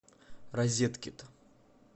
розеткид